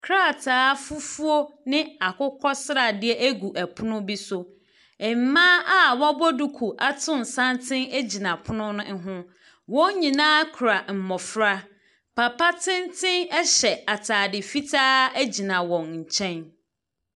Krataa fufuuo ne akokɔsradeɛ egu ɛpono bi so. Mbaa a wabɔ duku ato santene egyina ɛpono no ɛho. Wɔnyinaa kura mbɔfra. Papa tenten ɛhyɛ ataade fitaa egyina wɔn kyɛn.